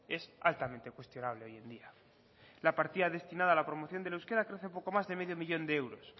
es altamente cuestionable hoy en día la partida destinada a la promoción del euskera crece poco mas de quinientos mil de euros